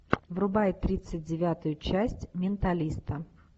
врубай тридцать девятую часть менталиста